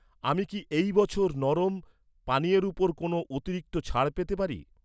আমি কি এই বছর নরম পানীয়ের ওপর কোনও অতিরিক্ত ছাড় পেতে পারি?